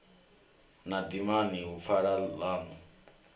na dimani hu pfala ḽaṋu